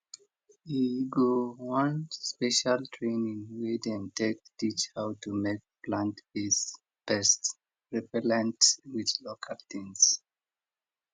e go one special training wey dem take teach how to make plantbased pest repellent with local tings